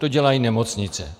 To dělají nemocnice.